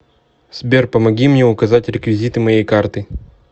сбер помоги мне указать реквизиты моей карты